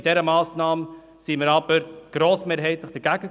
Bei dieser Massnahme waren wir jedoch grossmehrheitlich dagegen.